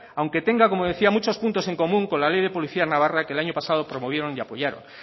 aunque tenga como decía muchos puntos en común con la ley de policía navarra que el año pasado promovieron y apoyaron